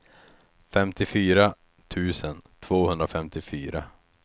femtiofyra tusen tvåhundrafemtiofyra